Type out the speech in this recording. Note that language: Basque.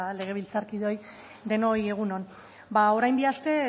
legebiltzarkideoi denoi egun on orain bi aste